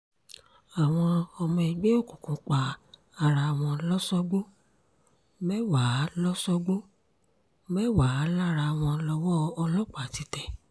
àwọn ọmọ ẹgbẹ́ òkùnkùn pa ara wọn lọ́sọ̀gbó mẹ́wàá lọ́sọ̀gbó mẹ́wàá lára wọn lọ́wọ́ ọlọ́pàá ti tẹ̀